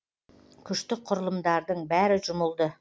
күштік құрылымдардың бәрі жұмылды